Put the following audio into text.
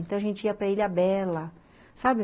Então, a gente ia para Ilha Bela, sabe?